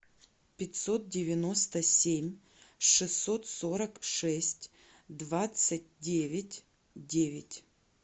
пятьсот девяносто семь шестьсот сорок шесть двадцать девять девять